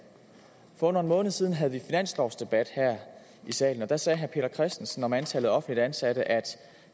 for under en måned siden havde vi finanslovsdebat her i salen og der sagde herre peter christensen om antallet af offentligt ansatte at